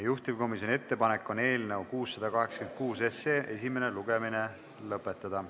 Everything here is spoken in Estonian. Juhtivkomisjoni ettepanek on eelnõu 686 esimene lugemine lõpetada.